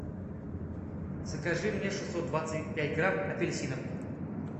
закажи мне шестьсот двадцать пять грамм апельсинов